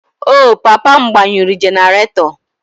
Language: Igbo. Oh, papa m gbanyụrụ generator